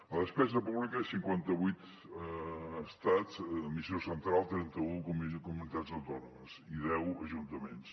la despesa pública a cinquanta vuit estats administració central trenta un comunitats autònomes i deu ajuntaments